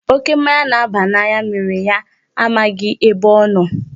Oké mmanya na-aba n'anya mere ya ọ maghị ebe ọ nọ.